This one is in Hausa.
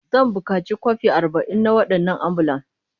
Zan buƙaci kwafi arba'in na waɗannan ambulan.